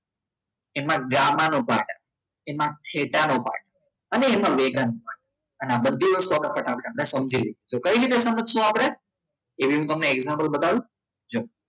એમ gamma નો part આવે એમાં થેટાનો પાર્ટ અને એમાં મેગાન અને આ બધી વસ્તુ આપણે સમજીવી છે તો કઈ રીતે સમજશુ આપણે એવી તમને example બતાવું જુઓ